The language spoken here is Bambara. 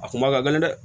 A kun ma ka gɛlɛn dɛ